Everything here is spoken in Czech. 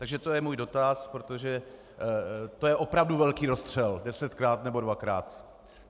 Takže to je můj dotaz, protože to je opravdu velký rozstřel - desetkrát, nebo dvakrát.